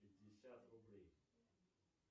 пятьдесят рублей